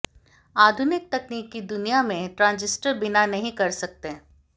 आधुनिक तकनीक की दुनिया में ट्रांजिस्टर बिना नहीं कर सकते